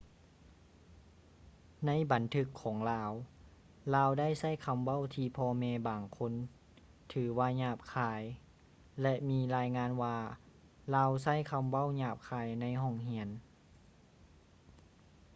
ໃນບັນທຶກຂອງລາວ ລາວໄດ້ໃຊ້ຄຳເວົ້າທີ່ພໍ່ແມ່ບາງຄົນຖືວ່າຫຍາບຄາຍ ແລະ ມີລາຍງານວ່າລາວໃຊ້ຄຳເວົ້າຫຍາບຄາຍໃນຫ້ອງຮຽນ